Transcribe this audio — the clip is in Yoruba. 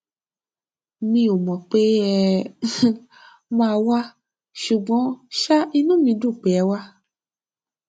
mi ò mò pé ẹ um máa wá ṣùgbọn um inú wa dùn pé ẹ wá